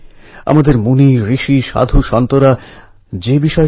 ছাত্রদের মনযোগ হোম থেকে হোস্টেলএ চলে যায়